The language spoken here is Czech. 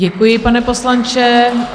Děkuji, pane poslanče.